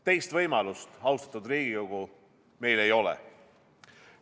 Teist võimalust, austatud Riigikogu, meil ei ole.